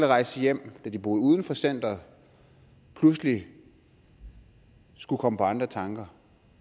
rejse hjem da de boede uden for centeret pludselig skulle komme på andre tanker